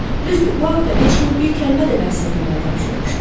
Düzdür, bu haqda heç kimə bir kəlmə də bəhs etməməyi tapşırmışdı.